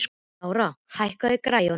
Lára, hækkaðu í græjunum.